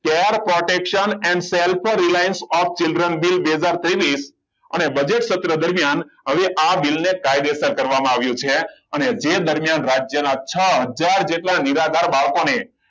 care protection and self reliance of children બીલકેટર ત્રેવિસઅને budget પત્ર સત્ર દરમિયાન હવે આ બિલને કાયદેસર કરવામાં આવ્યું છે અને જે દરમિયાન રાજ્યના છ હજાર જેટલા નિરાધાર બાળકોને